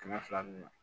Kɛmɛ fila dun